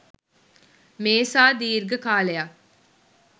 මේ සා දිර්ඝ කාලයක්